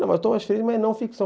Mas o Thomas Friedman é não ficção.